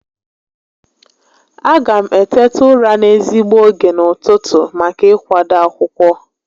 A ga m eteta ụra n'ezigbo ógè n'ụtụtụ maka ị kwado akwụkwọ